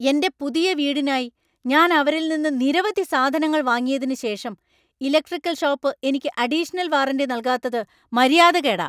എന്‍റെ പുതിയ വീടിനായി ഞാൻ അവരിൽ നിന്ന് നിരവധി സാധനങ്ങൾ വാങ്ങിയതിന് ശേഷം ഇലക്ട്രിക്കൽ ഷോപ്പ് എനിക്ക് അഡിഷണൽ വാറന്‍റി നൽകാത്തത് മര്യാദകേടാ.